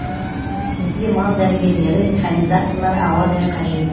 бізде мал дәрігерлері механизаторлар ауадай қажет